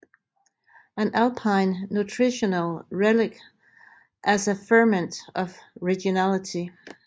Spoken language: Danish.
An Alpine Nutritional Relic as a Ferment of Regionality